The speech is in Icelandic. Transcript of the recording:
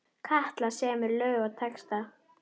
Katla semur lög og texta.